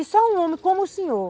E só um homem como o senhor,